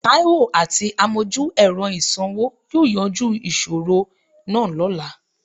Taiwo àti àmojú-ẹ̀rọ ìsanwó yóò yanjú ìṣòro náà lọ́la